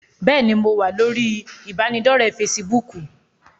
Bẹ́ẹ̀ni, mo wá lórí ibanidọ̀rẹ́ "Fésííbùùkù".